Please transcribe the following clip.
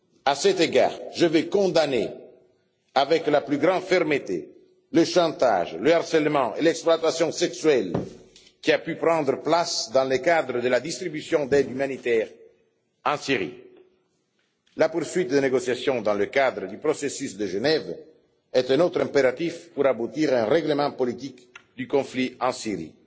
À cet égard, je tiens à condamner avec la plus grande fermeté le chantage, le harcèlement et l'exploitation sexuelle qui ont pu avoir lieu dans le cadre de la distribution d'aide humanitaire en Syrie. La poursuite des négociations dans le cadre du processus de Genève est un autre impératif pour aboutir à un règlement politique du conflit en Syrie.